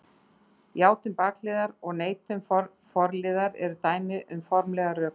Játun bakliðar og neitun forliðar eru dæmi um formlegar rökvillur.